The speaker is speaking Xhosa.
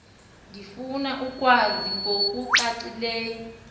ndifuna ukwazi ngokucacileyo